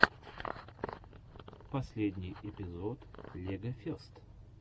последний эпизод легофест